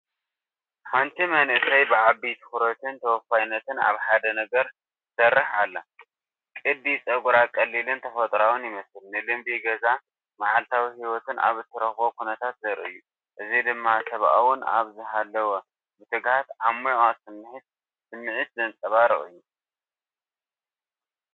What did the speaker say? ሓንቲ መንእሰይ ብዓቢ ትኹረትን ተወፋይነትን ኣብ ሓደ ነገር ትሰርሕ ኣላ። ቅዲ ጸጉራ ቀሊልን ተፈጥሮኣውን ይመስል ንልምዲ ገዛን መዓልታዊ ህይወትን ኣብ እትረኽቦ ኩነታትን ዘርኢ እዩ። እዚ ድማ ሰብኣውነት ኣብ ዝሃለወ ብትግሃት ዓሚቝ ስምዒት ዘንጸባርቕ እዩ።